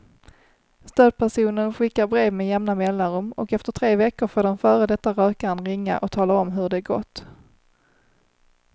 Stödpersonen skickar brev med jämna mellanrum och efter tre veckor får den före detta rökaren ringa och tala om hur det gått.